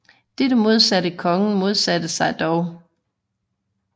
Dette modsatte kongen modsatte sig dog